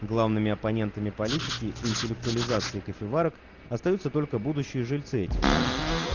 главными оппонентами политики интеллектуализации кофеварок остаются только будущие жильцы этих домов